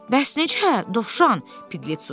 Bəs necə, Dovşan, Piqlet soruşdu.